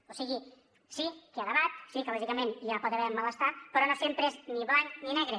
o sigui sí que hi ha debat sí que lògicament hi pot haver malestar però no sempre és ni blanc ni negre